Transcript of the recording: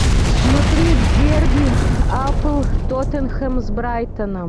смотреть дерби апл тоттенхэм с брайтоном